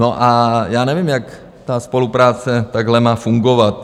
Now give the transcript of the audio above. No a já nevím, jak ta spolupráce takhle má fungovat.